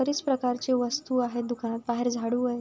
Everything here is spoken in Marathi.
बरीच प्रकारचे वस्तु आहे दुकाना बाहेर झाडू आहे.